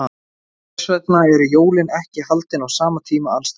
Hvers vegna eru jólin ekki haldin á sama tíma alls staðar?